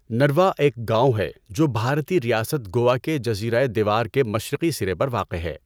نروا ایک گاؤں ہے جو بھارتی ریاست گوا کے جزیرۂ دیور کے مشرقی سرے پر واقع ہے۔